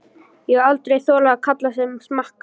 Ég hef aldrei þolað karla sem smakka.